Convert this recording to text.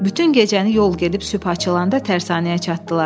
Bütün gecəni yol gedib sübh açılanda tərsanəyə çatdılar.